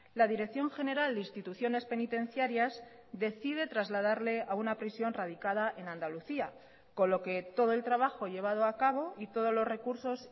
la dirección general de instituciones penitenciarias decide trasladarle a una prisión radicada en andalucía con lo que todo el trabajo llevado a cabo y todos los recursos